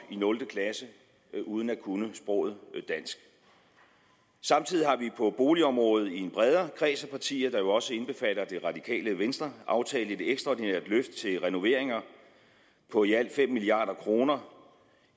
i nul klasse uden at kunne sproget dansk samtidig har vi på boligområdet i en bredere kreds af partier der jo også indbefatter det radikale venstre aftalt et ekstraordinært løft til renoveringer på i alt fem milliard kroner